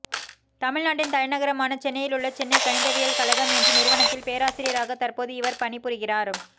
தமிழ்நாட்டின் தலைநகரமான சென்னையிலுள்ள சென்னை கணிதவியல் கழகம் என்ற நிறுவனத்தில் பேராசியராக தற்போது இவர் பணிபுரிகிறார்